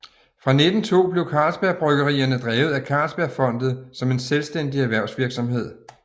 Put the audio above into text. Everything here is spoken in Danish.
Fra 1902 blev Carlsberg Bryggerierne drevet af Carlsbergfondet som en selvstændig erhvervsvirksomhed